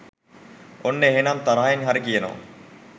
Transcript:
ඔන්න එහෙනම් තරහෙන් හරි කියනවා